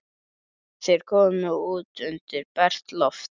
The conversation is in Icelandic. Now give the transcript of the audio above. Þeir komu út undir bert loft.